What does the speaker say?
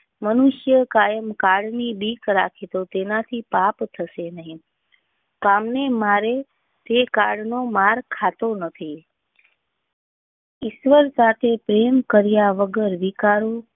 મનુષ્ય કાયમ કારણે ભીખ રાખે તો તેનાથી પાપ શકશે નહીં. કોમ ને મારે થી કાર નો માર ખાતો નથી. ઈશ્વર સાથે પ્રેમ કર્યા વગર વિકારો